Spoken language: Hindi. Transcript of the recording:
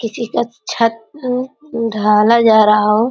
किसी का छत उम्म उम्म ढ़ाला जा रहा हो।